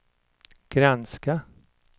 granska